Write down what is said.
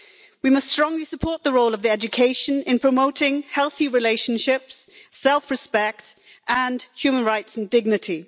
We must strongly support the role of education in promoting healthy relationships, self respect and human rights and dignity.